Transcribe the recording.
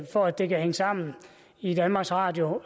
for at det kan hænge sammen i danmarks radio